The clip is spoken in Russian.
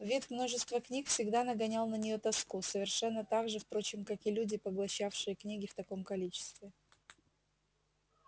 вид множества книг всегда нагонял на неё тоску совершенно так же впрочем как и люди поглощавшие книги в таком количестве